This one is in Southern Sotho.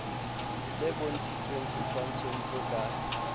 le bontshitshweng setshwantshong se ka